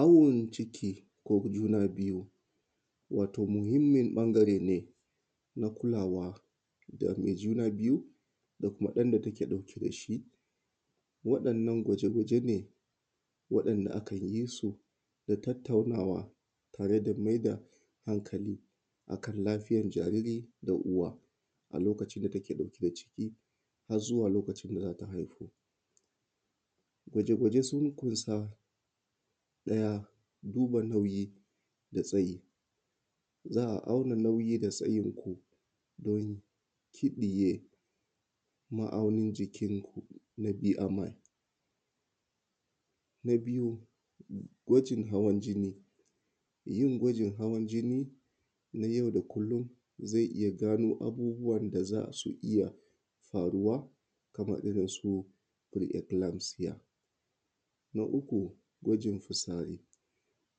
Awon ciki, ko juna biyu, wato muhimmin ɓangare ne, na kulawa da mai juna biyu, da kuma ɗan da take ɗauke da shi. Waɗannan gwaje-gwaje ne, waɗanda akan yi su, da tattaunawa, tare da mai da hankali a kan lafiyar jariri da uwa a lokacin da take ɗauke da ciki, har zuwa lokacin da za ta haihu. Gwaje-gwaje sun ƙunsa, ɗaya, duba nauyi, da tsayi. Za a auna nauyi da tsayinku don kiɗiye ma’aunin jikinku. Na bi ama, na biyu, gwajin hawan jini. Yin gwajin hawan jini, na yau da kullum, zai iya gano abubuwan da za su iya faruwa, kamar irin su, pre-eclemphsia. Na uku, gwajin fitsari.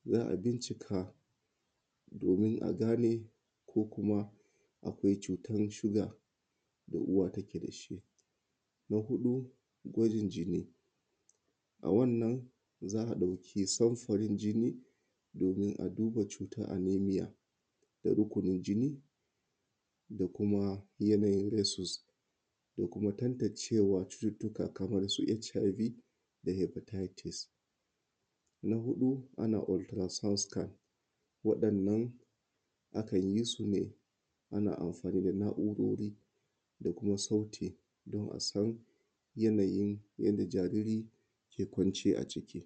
Za a bincika, domin a gane ko kuma akwai cutan shuga da uwa take da shi. Na huɗu, gwajin jini. A wannan, za a ɗauki samfurin jini, domin a duba cutar anaemia, da rukunin jini, da kuma yanayin rhesus, da kuma tantancewar cututtuka kamar su HIV, da hepatitis. Na huɗu, ana Ultrasound Scan. Waɗannan, akan yi su ne, ana amfani da na’urori, da kuma sauti don a san, yanayin yanda jariri ke kwance a ciki.